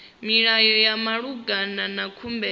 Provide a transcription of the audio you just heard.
milayo ya malugana na khumbelo